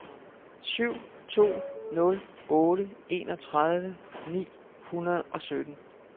syv to nul otte enogtredive ni hundrede og sytten